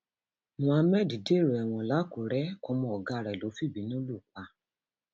muhammed dèrò ẹwọn làkùrẹ ọmọ ọgá rẹ ló fìbínú lù pa